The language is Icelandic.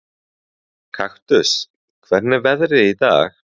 Kaktus, hvernig er veðrið í dag?